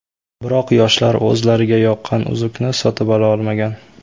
Biroq yoshlar o‘zlariga yoqqan uzukni sotib ola olmagan.